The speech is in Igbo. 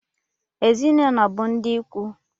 Ezinụlọ bụ ndị ikwu